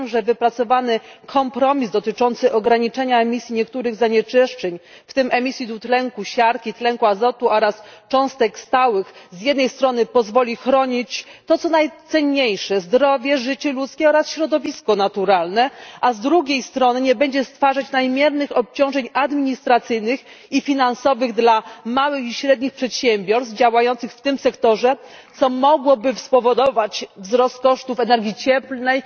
Wierzę, że wypracowany kompromis dotyczący ograniczenia emisji niektórych zanieczyszczeń, w tym emisji dwutlenku siarki, tlenku azotu oraz cząstek stałych z jednej strony pozwoli chronić to, co najcenniejsze zdrowe, życie ludzkie oraz środowisko naturalne, a z drugiej strony nie będzie stwarzać nadmiernych obciążeń administracyjnych i finansowych dla małych i średnich przedsiębiorstw działających w tym sektorze, co mogłoby spowodować wzrost kosztów energii cieplnej